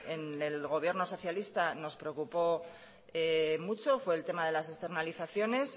en el gobierno socialista nos preocupó mucho fue el tema de las externalizaciones